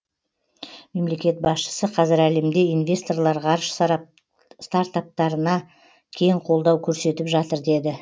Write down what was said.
мемлекет басшысы қазір әлемде инвесторлар ғарыш стартаптарына кең қолдау көрсетіп жатыр деді